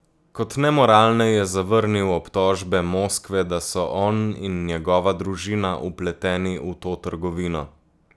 Kot nemoralne je zavrnil obtožbe Moskve, da so on in njegova družina vpleteni v to trgovino.